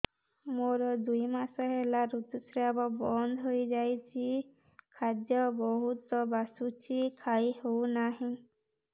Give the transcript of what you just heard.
ମୋର ଦୁଇ ମାସ ହେଲା ଋତୁ ସ୍ରାବ ବନ୍ଦ ହେଇଯାଇଛି ଖାଦ୍ୟ ବହୁତ ବାସୁଛି ଖାଇ ହଉ ନାହିଁ